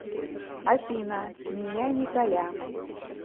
афина меня николя